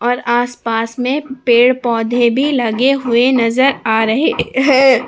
और आसपास में पेड़ पौधे भी लगे हुए नजर आ रहे हैं।